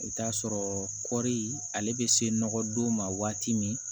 I bɛ t'a sɔrɔ kɔɔri ale bɛ se nɔgɔdon ma waati min